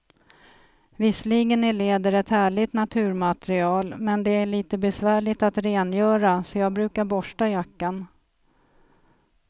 Visserligen är läder ett härligt naturmaterial, men det är lite besvärligt att rengöra, så jag brukar borsta jackan.